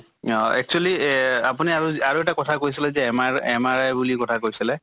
অহ actually এহ আপুনি আৰু আৰু এটা কথা কৈছিলে যে MRI বুলি কথা কৈছিলে